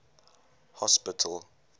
hospital